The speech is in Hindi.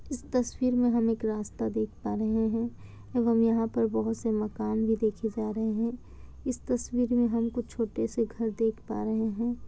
इस तस्वीर में हम एक रास्ता देख पा रहे हैं एवं यहाँ पर बहुत से मकान भी देखे जा रहे हैं। इस तस्वीर में हमे कुछ छोटे-से घर देख पा रहे हैं।